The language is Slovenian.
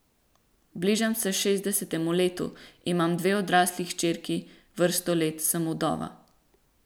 Bližam se šestdesetemu letu, imam dve odrasli hčerki, vrsto let sem vdova.